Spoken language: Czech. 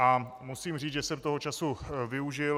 A musím říct, že jsem toho času využil.